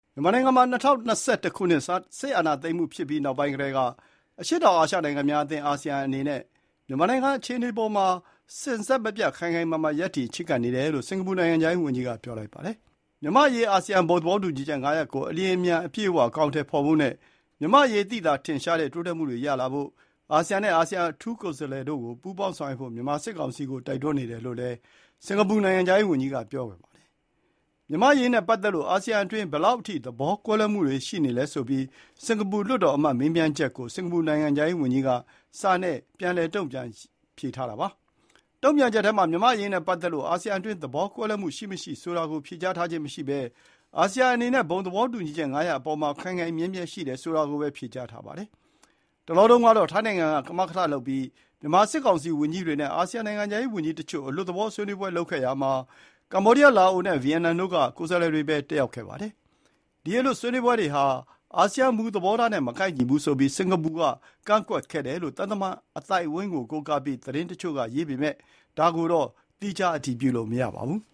မြန်မာနိုင်ငံမှာ ၂၀၂၁ ခုနှစ် စစ်အာဏာသိမ်းမှုဖြစ်ပြီးနောက်ပိုင်းကတည်းက အရှေ့တောင်အာရှနိုင်ငံများအသင်း အာဆီယံအနေနဲ့ မြန်မာနိုင်ငံအခြေအနေအပေါ်မှာ စဉ်ဆက်မပြတ် ခိုင်ခိုင်မာမာ ရပ်တည်ချဉ်းကပ်နေတယ်လို့ စင်ကာပူနိုင်ငံခြားရေးဝန်ကြီးကပြောပါတယ်။ မြန်မာ့အရေး အာဆီယံ ဘုံသဘောတူညီချက် ၅ ရပ်ကို အလျှင်အမြန်နဲ့ အပြည့်အဝအကောင်အထည်ဖော်ဖို့နဲ့၊ မြန်မာ့အရေးသိသာထင်ရှားတဲ့တိုးတက်မှုတွေရလာဖို့ အာဆီယံနဲ့ အာဆီယံအထူးကိုယ်စားလှယ်တို့ကို ပူးပေါင်းဆောင်ရွက်ဖို့ မြန်မာစစ်ကောင်စီကိုတိုက်တွန်းနေတယ်လို့လည်း စင်ကာပူနိုင်ငံခြားရေးဝန်ကြီးက ပြောပါတယ်။ မြန်မာ့အရေးနဲ့ပတ်သက်လို့ အာဆီယံအတွင်း ဘယ်လောက်အထိ သဘောကွဲလွဲမှုတွေရှိနေလဲဆိုပြီး၊ စင်ကာပူလွှတ်တော်အမတ်မေးမြန်းချက်ကို စင်ကာပူနိုင်ငံခြားရေးဝန်ကြီးက စာနဲ့ပြန်တုန့်ပြန်ထားတာပါ။ တု့န်ပြန်ချက်ထဲမှာ မြန်မာ့အရေးနဲ့ပတ်သက်လို့ အာဆီယံအတွင်းသဘောကွဲလွဲမှုရှိမရှိဆိုတာကို ဖြေကြားထားခြင်းမရှိပဲ၊ အာဆီယံ အနေနဲ့ ဘုံသဘောတူညီချက် ၅ ရပ်အပေါ်မှာ ခိုင်ခိုင်မြဲမြဲရှိတယ်ဆိုတာကိုပဲ ဖြေကြားထားပါတယ်။ တလောတုန်းကတော့ ထိုင်းနိုင်ငံက ကမကထလုပ်ပြီး မြန်မာစစ်ကောင်စီဝန်ကြီးတွေနဲ့ အာဆီယံနိုင်ငံခြားရေးဝန်ကြီးတချို့ အလွတ်သဘောဆွေးနွေးပွဲလုပ်ခဲ့ရာမှာ၊ ကမ္ဘောဒီယား လာအိုနဲ့ ဗီယက်နိုင်ငံတို့က ကိုယ်စားလှယ်တွေပဲ တတ်ရောက်ပါတယ်။ ဒီ အလွတ်ဆွေးနွေးပွဲဟာ အာဆီယံမူသဘောထားနဲ့ မကိုက်ညီဘူးဆိုပြီး စင်ကာပူက ကန့်ကွက်ခဲ့တယ်လို့ သံတမန်အသိုင်းအဝိုင်းကိုးကားပြီး သတင်းတချို့ကရေးပေမယ့်၊ ဒါကိုတော့ သီခြားအတည်ပြုလို့မရသေးပါဘူး။